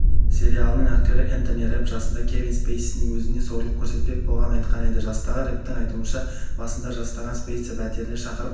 сериалының актері энтони рэпп жасында кевин спейсидің өзіне зорлық көрсетпек болғанын айтқан еді жастағы рэпптің айтуынша жасында жастағы спейси пәтеріне шақырып